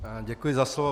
Děkuji za slovo.